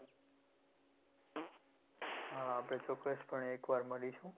હા આપણે ચોક્કસ પણે એકવાર મળીશું.